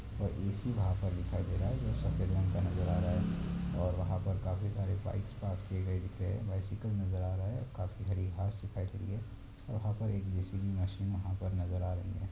और ऐसी वहाँ पर दिखाई दे रहा है जो सफ़ेद रंग का नजर आ रहा है और वहाँ पे काफी सारी बाइक्स पार्क की गई है। बाइसिकल नजर आ रही है और काफी हरी घास दिख रही है और वहाँ पर जे.सी.बी. मशीन नजर आ रही हैं।